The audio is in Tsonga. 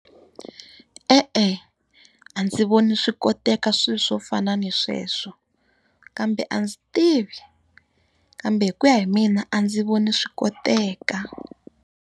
E-e, a ndzi voni swi koteka swilo swo fana na sweswo. Kambe a ndzi tivi, kambe hi ku ya hi mina a ndzi voni swi koteka.